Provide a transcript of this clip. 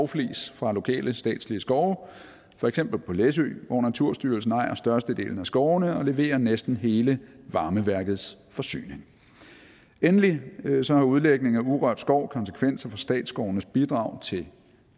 flis fra lokale statslige skove for eksempel på læsø hvor naturstyrelsen ejer størstedelen af skovene og leverer næsten hele varmeværkets forsyning endelig har udlægning af urørt skov konsekvenser for statsskovenes bidrag til